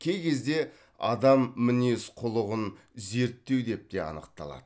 кей кезде адам мінез құлығын зерттеу деп те анықталады